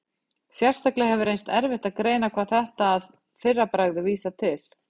Sérstaklega hefur reynst erfitt að greina hvað þetta að fyrra bragði vísar til.